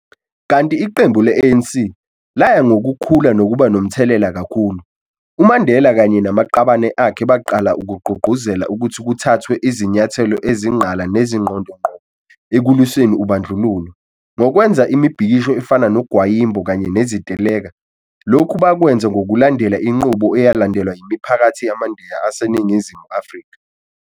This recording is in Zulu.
Kanti iqembu le ANC, laya ngokukhula nokuba nomthelela kakhulu, uMandela kanye namaqabane akhe baqala ukugqugquzela ukuthi kuthathwe izinyathelo ezinqala nezingqonde ngqo ekulwiseni ubandlululo, ngokwenza imibhikisho efana nogwayimbo kanye neziteleka, lokhu bakwenza ngokulandela inqubo eyalandelwa yimiphakathi yamaNdiya aseNingizimu Afrika.